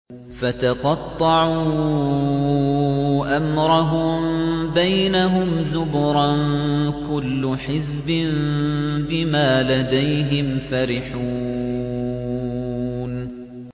فَتَقَطَّعُوا أَمْرَهُم بَيْنَهُمْ زُبُرًا ۖ كُلُّ حِزْبٍ بِمَا لَدَيْهِمْ فَرِحُونَ